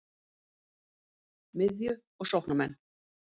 Miðju- og sóknarmenn: